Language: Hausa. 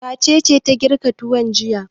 Wace ce ta girka tuwo jiya?